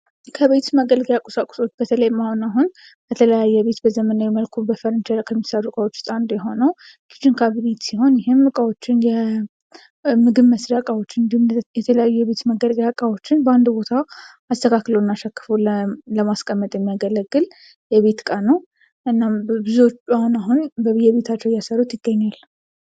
ከቤት መገልገያ ቁሳቁሶች በተለይም አሁን ከሚሰሩ እቃዎች ውስጥ አንዱ የሆነው ኪቺን ካቢኔት ይህም የተለያዩ የቤት ውስጥ መገልገያዎችን በአንድ ቦታ አስተካክሎና ሸክፎ ለማስቀመጥ የሚያገለግል የቤት ዕቃ ነው እናም ብዙዎቹ አሁን አሁን በቤታቸው እያሰሩት ይገኛሉ።